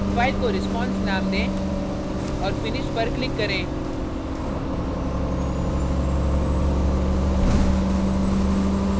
file को response name दें और finish पर click करें